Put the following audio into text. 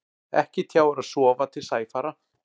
Ekki tjáir að sofa til sæfara.